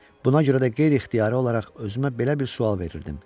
Buna görə də qeyri-ixtiyari olaraq özümə belə bir sual verirdim: